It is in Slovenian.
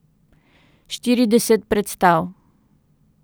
Štirideset predstav.